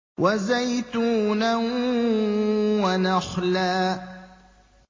وَزَيْتُونًا وَنَخْلًا